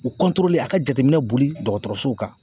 U a ka jateminɛ boli dɔgɔtɔrɔsow kan.